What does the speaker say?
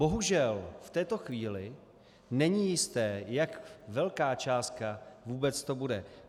Bohužel, v této chvíli není jisté, jak velká částka vůbec to bude.